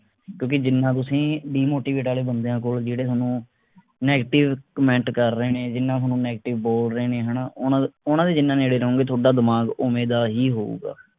ਕਿਓਂਕਿ ਜਿੰਨਾ ਤੁਸੀਂ demotivate ਆਲੇ ਬੰਦਿਆਂ ਕੋਲ ਜਿਹੜੇ ਥੋਨੂੰ negative comment ਕਰ ਰਹੇ ਨੇ ਜਿੰਨਾ ਥੋਨੂੰ negative ਬੋਲ ਰਹੇ ਨੇ ਹਣਾ ਓਹਨਾ ਉਹਨਾਂ ਦੇ ਜਿੰਨਾ ਨੇੜੇ ਰਹੋਗੇ ਥੋਡਾ ਦਿਮਾਗ ਓਵੇਂ ਦਾ ਹੀ ਹੋਊਗਾ